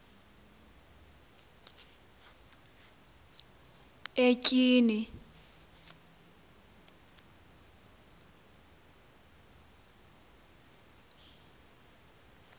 etyhini